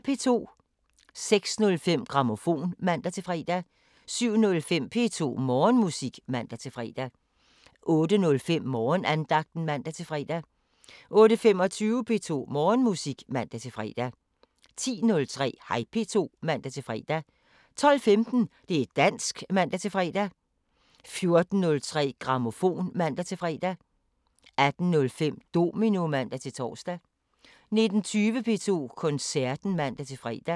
06:05: Grammofon (man-fre) 07:05: P2 Morgenmusik (man-fre) 08:05: Morgenandagten (man-fre) 08:25: P2 Morgenmusik (man-fre) 10:03: Hej P2 (man-fre) 12:15: Det´ dansk (man-fre) 14:03: Grammofon (man-fre) 15:03: Amadeus (man-fre) 18:05: Domino (man-tor) 19:20: P2 Koncerten (man-fre)